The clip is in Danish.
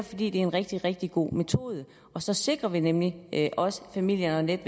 fordi det er en rigtig rigtig god metode så sikrer vi nemlig også at familierne